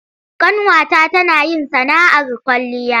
Ƙanwata tana yin sana'ar kwalliya.